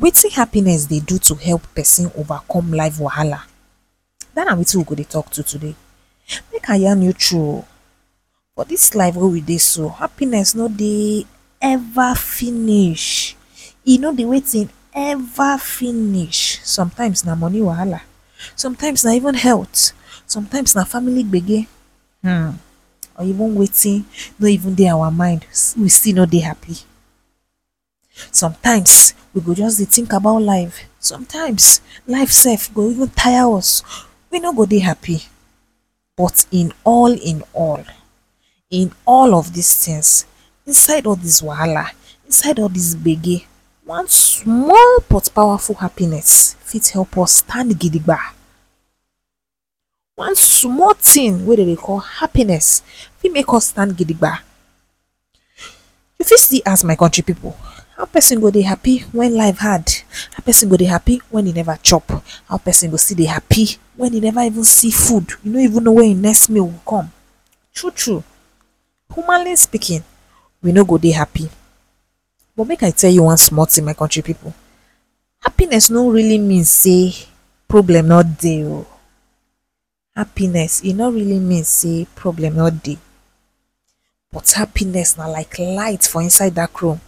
Watin happiness dey do to help person over come life wahala? That na watin we go dey talk today, make I yan you true oh, for this life way we dey so happiness no dey ever finish, e no dey watin? “ever finish” sometimes na money wahala, sometimes na even health, sometimes na family gbege. um, or even watin no even dey our mind, still we no dey happy. Sometimes we go just dey think about life, sometimes life sef go even tire us, we no go dey happy, but in all in all in all of dis things inside all this wahala, inside all this gbege one small but powerful happiness fit help us stand gidigbe…. One small thing way they dey call happiness, fit make us stand gidigbe…. We fit still ask my country people, how person go dey help when life hard? How person go dey happy when he never chop, how person go still dey help when he never see food, he no even know where his next meal go come. True true humanly speaking we no go dey happy, but make I tell you one small thing my country people. Happiness no really mean say problem no dey oh, happiness e no really mean say problem no dey, but happiness na like light for inside dark room,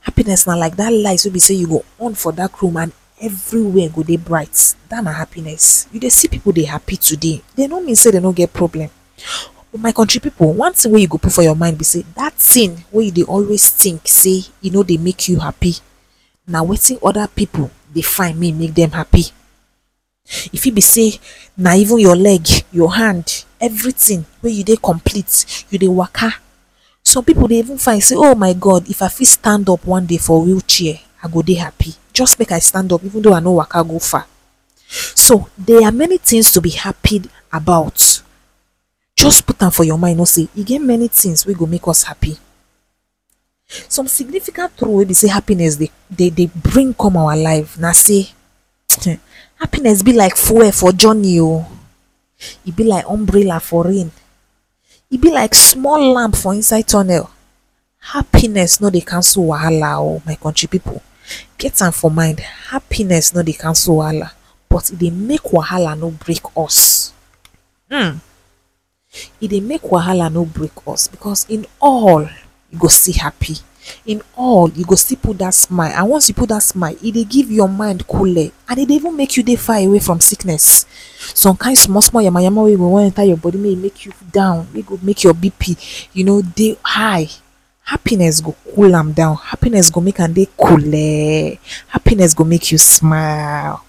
happiness na like that light way be say you go on for dark room and everywhere go dey bright. Dat na happiness. You dey see people dey happy today, dey no mean say they no get problem. But my country people one tin way you go put for your mind be say dat thing way you dey always think say e no dey make you happy na watin other people dey find may e make them happy. E feet be say na even your leg, your hand, everything way you dey complete, you dey waka. Some people dey even find say “oh my God If i feet stand up on day for wheel chair, I go dey happi, just make I stand up even thou I no waka go far” so there’re many things to be happy about. Just put am for you mind know say, e get many things way go make us happy. Some significant true way be say happiness dey dey… bring come our life na say um happiness be like fuel for journey oh, e be like umbrella for rain, e be like small lamb for inside tunnel. Happiness no dey cancel wahala oh my country people, get am for mind happiness no dey cancel wahala but they make wahala no break us um e dey make wahala no break us because in all you can still happy, in all you go still put that smile and once you put dat smile e dey give your mind coole and e dey even make you dey far away from sickness. Some kind small small yama yama way go wan enter your body may e make you down way go make you BP… you know dey high. Happiness go cool am down happiness go make am dey coolee, happiness go make you smilee.